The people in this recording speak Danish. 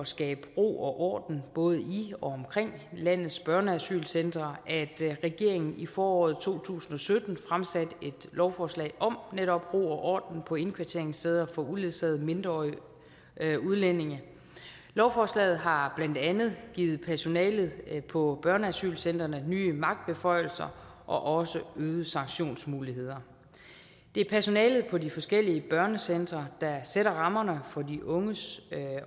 skabe ro og orden både i og omkring landets børneasylcentre at regeringen i foråret to tusind og sytten fremsatte et lovforslag om netop ro og orden på indkvarteringssteder for uledsagede mindreårige udlændinge lovforslaget har blandt andet givet personalet på børneasylcentrene nye magtbeføjelser og også øgede sanktionsmuligheder det er personalet på de forskellige børnecentre der sætter rammerne for de unges